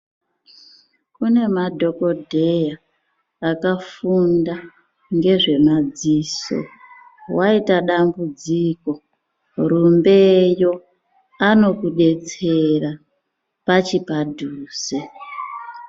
Kune madhogodheya akafunda ngezvemadziso. Waita dambudziko rumbeyo anokudetsera pachi padhuze.